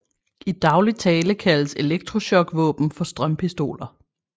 I daglig tale kaldes elektrochokvåben for strømpistoler